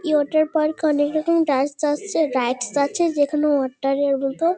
এই water park -এ অনেকরকম আসছে রাইডস আছে যেখানে ওয়াটার -এর মতো।